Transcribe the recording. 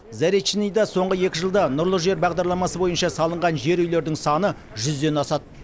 заречныйда соңғы екі жылда нұрлы жер бағдарламасы бойынша салынған жер үйлердің саны жүзден асады